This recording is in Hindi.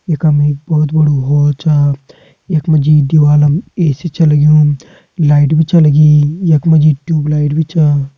यखम एक बहौत बडु हॉल चा यखमा जी दीवालम एसी च लग्युं लाइट बी च लगीं यखमा जी टयूबलाइट